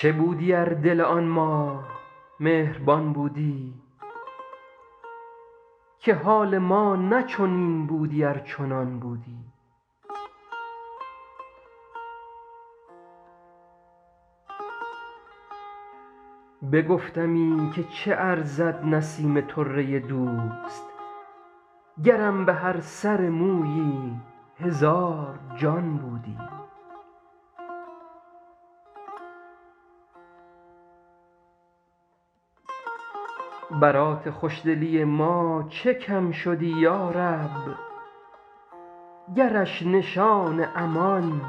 چه بودی ار دل آن ماه مهربان بودی که حال ما نه چنین بودی ار چنان بودی بگفتمی که چه ارزد نسیم طره دوست گرم به هر سر مویی هزار جان بودی برات خوش دلی ما چه کم شدی یا رب گرش نشان امان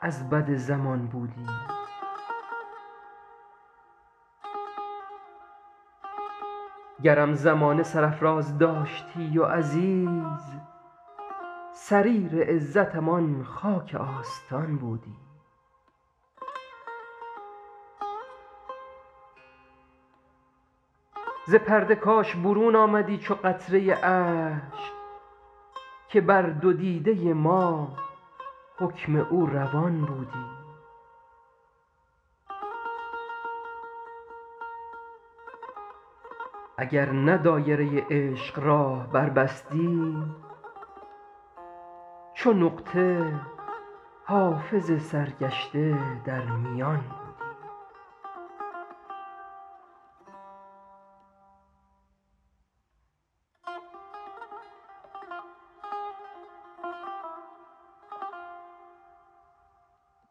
از بد زمان بودی گرم زمانه سرافراز داشتی و عزیز سریر عزتم آن خاک آستان بودی ز پرده کاش برون آمدی چو قطره اشک که بر دو دیده ما حکم او روان بودی اگر نه دایره عشق راه بربستی چو نقطه حافظ سرگشته در میان بودی